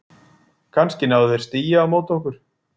Kannski náðu þeir stigi á móti okkur?